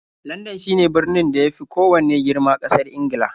Landan shine birnin da ya fi kowanne girma ƙasar Ingila.